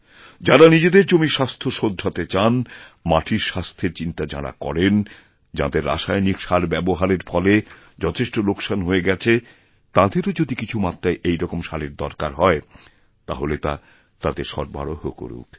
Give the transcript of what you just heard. যাঁরা নিজেদের জমির স্বাস্থ্য শোধরাতেচান মাটির স্বাস্থ্যের চিন্তা যাঁরা করেন যাঁদের রাসায়নিক সার ব্যবহারের ফলেযথেষ্ট লোকসান হয়ে গেছে তাঁদেরও যদি কিছু মাত্রায় এই রকম সারের দরকার হয় তাহলেতা তাদের সরবরাহ করুক